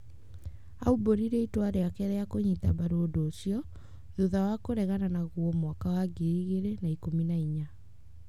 Aumbũrire itua rĩake rĩa kũnyita mbaru ũndu ũcio, thutha wa kũregana naguo mwaka wa 2014.